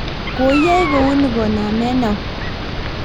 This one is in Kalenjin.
koi yoe kou ni koname au?